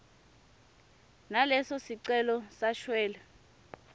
naleso sicelo sashwele